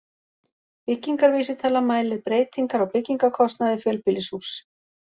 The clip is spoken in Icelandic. Byggingarvísitala mælir breytingar á byggingarkostnaði fjölbýlishúss.